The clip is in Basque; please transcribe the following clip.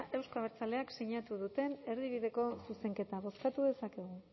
euzko abertzaleek sinatu duten erdibideko zuzenketa bozkatu dezakegu